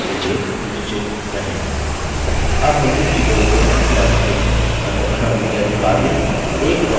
अब हम इस ट्यूटोरियल के अंत में आ चुके हैं अंततः नियतकार्य